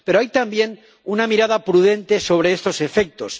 Pero hay, también, una mirada prudente sobre estos efectos.